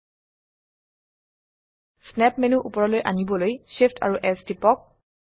snap menu উপৰলৈ আনিবলৈ Shift এএমপি S টিপক